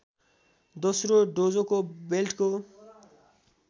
दोस्रो डोजोको बेल्टको